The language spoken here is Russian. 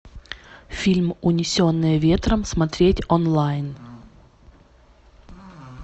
фильм унесенные ветром смотреть онлайн